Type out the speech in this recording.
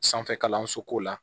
Sanfɛ kalanso ko la